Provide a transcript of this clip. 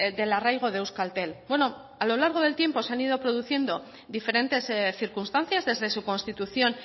del arraigo de euskaltel a lo largo del tiempo se han ido produciendo diferentes circunstancias desde su constitución